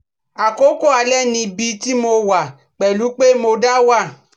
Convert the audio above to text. Àkókò alẹ́ ̀ni níbi tí mo wà pẹ̀lú pé mo da wà